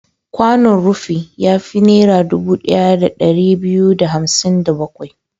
Kwanon rufi ya fi Naira dubu ɗaya da ɗari biyu da hamsin da bakwai.